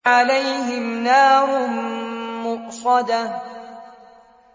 عَلَيْهِمْ نَارٌ مُّؤْصَدَةٌ